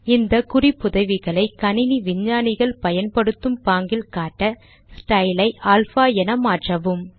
இந்த குறிப்புதவிகளை கணினி விஞ்ஞானிகள் பயன்படுத்தும் பாங்கில் காட்ட ஸ்டைல் ஐ அல்பா என மாற்றவும்